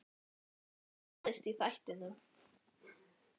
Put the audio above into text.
Hvað ætli gerist í þættinum?